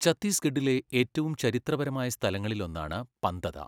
ഛത്തീസ്ഗഢിലെ ഏറ്റവും ചരിത്രപരമായ സ്ഥലങ്ങളിലൊന്നാണ് പന്തദ.